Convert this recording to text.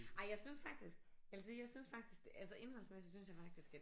Ej jeg syntes faktisk jeg vil sige jeg syntes faktisk det altså indholdsmæssigt syntes jeg faktisk at